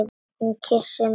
Hún kyssti mig!